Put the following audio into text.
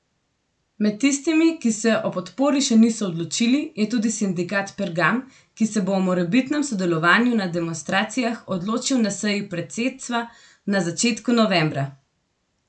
Med tistimi, ki se o podpori še niso odločili, je tudi sindikat Pergam, ki se bo o morebitnem sodelovanju na demonstracijah odločil na seji predsedstva na začetku novembra.